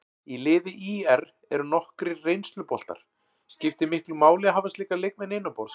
Í liði ÍR eru nokkrir reynsluboltar, skiptir miklu máli að hafa slíka leikmenn innanborðs?